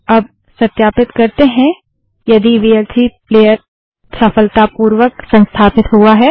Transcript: अब सत्यापित करते हैं यदि वीएलसी प्लेयर सफलतापूर्वक संस्थापित हुआ है